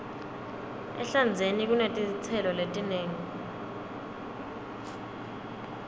ehlandzeni kunetitselo letinengi